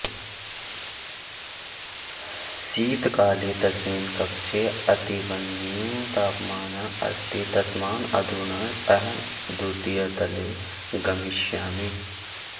शीतकाले तस्मिन् कक्षे अतीवन्यूनतापमानः अस्ति तस्मात् अधुना अहं द्वितीयतले गमिष्यामि